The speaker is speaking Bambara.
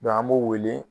an b'o wele